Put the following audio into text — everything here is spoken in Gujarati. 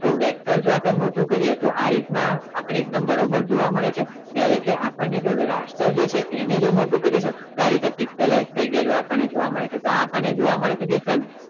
તો vector જો આપણે મોટું કરીએ તો આ રીત ના આપણે એકદમ બરોબર જોવા મળે છે જયારે કે આપણે જો raster છે એને જો મોટું કરીએ તો આ રીતે epositlize થઈ ગયેલું આપણને જોવા મળે છે તો આ આપણને જોવા મળે છે diffrence